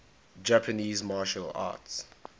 japanese martial arts